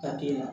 Ka k'i la